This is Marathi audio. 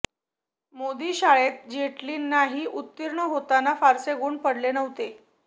मोदी शाळेत जेटलींनाही उत्तीर्ण होताना फारसे गुण पडले नव्हते